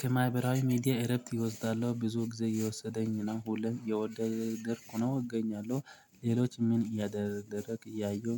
ከማህበራዊ ሚዲያ እረፍት ኢወስዳለሁ ብዙ ጊዜ እየወሰደኝ ነው ሁሌም የወደደርኩ ነው እገኛለሁ ሌሎች ምን እያደረግ እያየሁ?